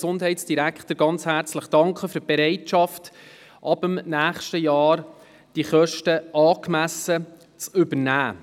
Dem Gesundheitsdirektor wurde diesbezüglich ganz herzlich für seine Bereitschaft gedankt, die Kosten ab dem nächsten Jahr angemessen zu übernehmen.